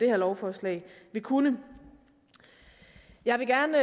her lovforslag vil kunne jeg vil gerne